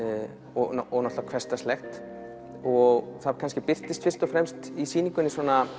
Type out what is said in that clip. og hversdagslegt og það kannski birtist fyrst og fremst í sýningunni